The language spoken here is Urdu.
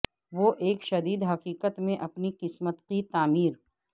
وہ ایک شدید حقیقت میں اپنی قسمت کی تعمیر